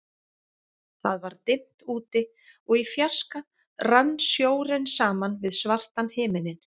Það var dimmt úti, og í fjarska rann sjórinn saman við svartan himininn.